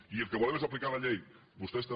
i el que volem és aplicar la llei vostès també